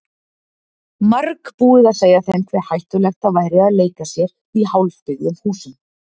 Margbúið að segja þeim hve hættulegt það væri að leika sér í hálfbyggðum húsum.